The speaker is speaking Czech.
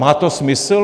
Má to smysl?